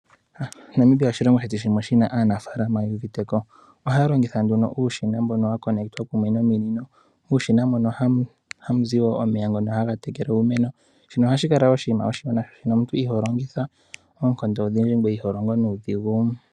Namibia oshilongo shono shina aanafaalama yu uviteko ohaya longitha uushina watulwa kumwe nomino. Uushina mono hamuzi omeya gokutekela iimeno nohashi kala oshinima oshiwanawa oshoka omuntu iholongitha oonkondo odhindji ngoye iholongo nuudhigu.